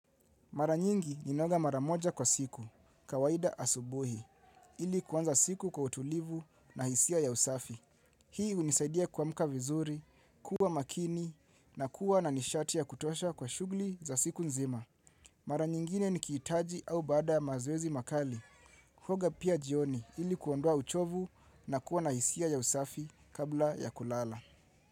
Mara nyingi ninaoga mara moja kwa siku, kawaida asubuhi, ili kuanza siku kwa utulivu na hisia ya usafi. Hii hunisaidia kuamuka vizuri, kuwa makini, na kuwa na nishati ya kutosha kwa shughli za siku nzima. Mara nyingine nikitaji au baada ya mazoezi makali, huoga pia jioni ili kuondoa uchovu na kuwa na hisia ya usafi kabla ya kulala.